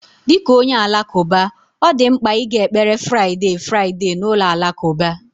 Dị ka onye Alakụba, ọ dị mkpa ịga ekpere Friday Friday na ụlọ alakụba